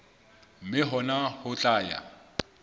mme hona ho tla ya